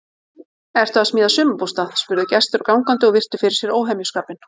Ertu að smíða sumarbústað? spurðu gestir og gangandi og virtu fyrir sér óhemjuskapinn.